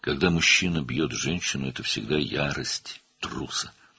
Kişi qadını vurursa, bu həmişə qorxağın qəzəbidir.